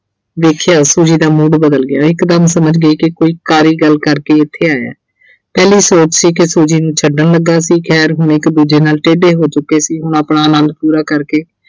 ਦੇਖਿਆ। Fuji ਦਾ mood ਬਦਲ ਗਿਆ ਇਕਦਮ ਸਮਝ ਗਈ ਕਿ ਕੋਈ ਗੱਲ ਕਰਕੇ ਇਹ ਇੱਥੇ ਆਇਆ ਪਹਿਲੀ ਸੋਚ ਸੀ ਕਿ Fuji ਨੂੰ ਛੱਡਣ ਲੱਗਾ ਸੀ ਖੈਰ ਹੁਣ ਇੱਕ ਦੂਜੇ ਨਾਲ ਟੇਢੇ ਹੋ ਚੁੱਕੇ ਸੀ, ਹੁਣ ਆਪਣਾ ਆਨੰਦ ਪੂਰਾ ਕਰਕੇ